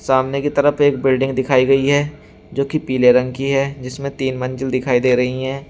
सामने की तरफ एक बिल्डिंग दिखाई गई है जो की पीले रंग की है जिसमें तीन मंजिल दिखाई दे रही हैं।